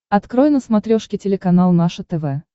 открой на смотрешке телеканал наше тв